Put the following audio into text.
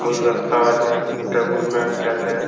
গুলদস্তাও আছে। Table bench আছে।